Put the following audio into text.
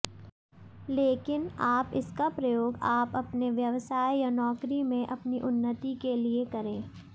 लेकिन आप इसका प्रयोग आप अपने व्यवसाय या नौकरी में अपनी उन्नति के लिए करें